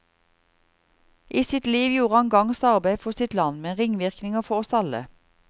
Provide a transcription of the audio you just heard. I sitt liv gjorde han gagns arbeide for sitt land, med ringvirkninger for oss alle.